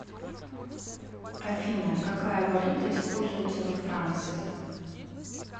афина какая валюта используется во франции